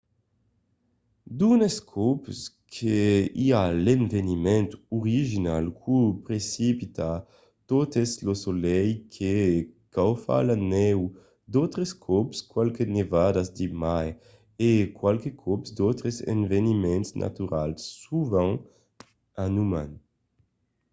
d'unes còps que i a l'eveniment original qu'o precipita tot es lo solelh que caufa la nèu d'autres còps qualques nevadas de mai e qualques còps d'autres eveniments naturals sovent un uman